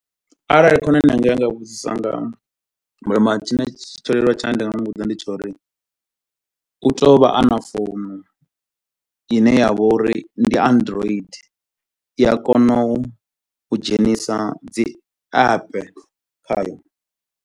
Arali khonani yanga ya nga vhudzisa nga mobile money, tshine tsho leluwa tshine nda nga muvhudza ndi tsho uri u tea u vha ana founu ine ya vha uri ndi android, i a kona u dzhenisa dzi app khayo.